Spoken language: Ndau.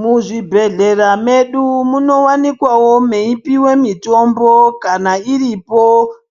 Mu zvibhedhlera medu muno wanikwawo mei piwe mitombo kana iripo